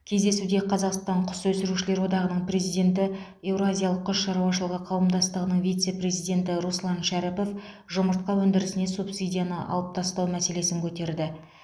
кездесуде қазақстан құс өсірушілер одағының президенті еуразиялық құс шаруашылығы қауымдастығының вице президенті руслан шәріпов жұмыртқа өндірісіне субсидияны алып тастау мәселесін көтерді